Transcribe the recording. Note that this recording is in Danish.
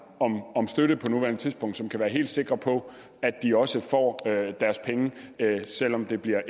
om støtte på nuværende tidspunkt som kan være helt sikre på at de også får deres penge selv om det bliver